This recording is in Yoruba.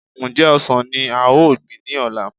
Ǹjẹ́ ọsàn ní a ò gbìn ní ọ̀la